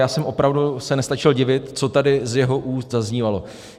Já jsem opravdu se nestačil divit, co tady z jeho úst zaznívalo.